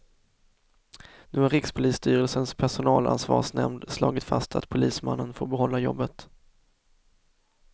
Nu har rikspolisstyrelsens personalansvarsnämnd slagit fast att polismannen får behålla jobbet.